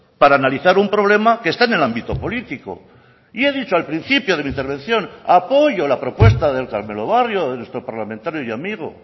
para analizar un problema que está en el ámbito político y he dicho al principio de mi intervención apoyo la propuesta del carmelo barrio de nuestro parlamentario y amigo